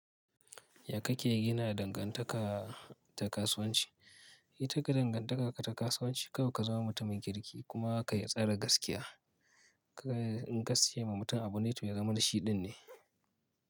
Ya kake gina dangantaka ta kasuwanci? Yi taka dangantaka ta kasuwanci, kawai ka zama mutumin kirki kuma ka yi tsare gaskiya. Kaga in kasai ma mutum abu ne to to ya zama da shi din ne.